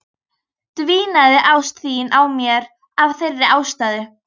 Dvínaði ást þín á mér af þeirri ástæðu?